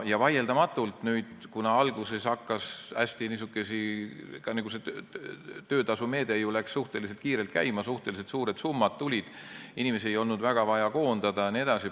Vaieldamatult, alguses niisugused meetmed nagu see töötasumeede läksid suhteliselt kiirelt käima, suhteliselt suured summad tulid, inimesi ei olnud väga vaja koondada jne.